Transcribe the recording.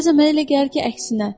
Bəzən mənə elə gəlir ki, əksinə.